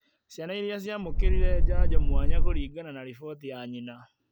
ciana iria ciamũkĩrire njanjo mwanya kũringana na riboti ya nyina